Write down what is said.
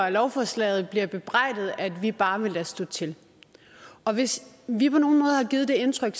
af lovforslaget bliver bebrejdet at vi bare vil lade stå til og hvis vi på nogen måde har givet det indtryk